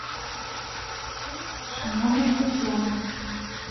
шаманова татьяна